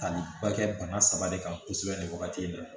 Taliba kɛ bana saba de kan kosɛbɛ nin wagati in na